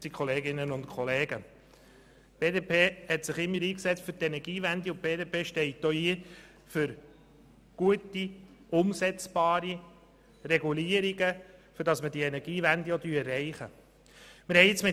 Die BDP hat sich immer für die Energiewende eingesetzt, und die BDP steht auch für gut umsetzbare Regulierungen ein, damit die Energiewende erreicht werden kann.